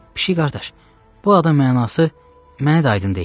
Pişik qardaş, bu adın mənası mənə də aydın deyil.